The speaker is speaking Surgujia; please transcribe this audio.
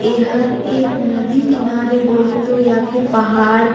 एहर एक नदी किनारे बोले तो या फिर पहाड़--